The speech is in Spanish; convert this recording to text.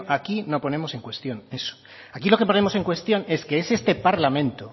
aquí no ponemos en cuestión eso aquí lo que ponemos en cuestión es que es este parlamento